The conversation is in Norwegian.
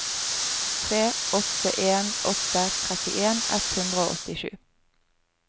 tre åtte en åtte trettien ett hundre og åttisju